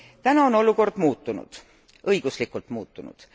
Täna on olukord muutunud, õiguslikult muutunud.